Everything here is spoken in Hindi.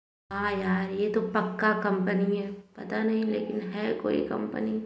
आ यार ये तो पक्का कंपनी है पता नहीं लेकिन है कोई कंपनी ।